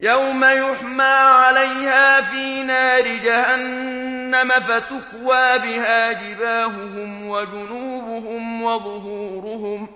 يَوْمَ يُحْمَىٰ عَلَيْهَا فِي نَارِ جَهَنَّمَ فَتُكْوَىٰ بِهَا جِبَاهُهُمْ وَجُنُوبُهُمْ وَظُهُورُهُمْ ۖ